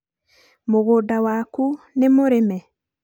mũgũnda waku nĩ mũrime?